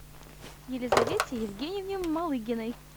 елизавете евгеньевне малыгиной